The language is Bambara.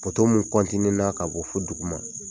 mun kɔntine na ka bɔ fɔ dugu ma.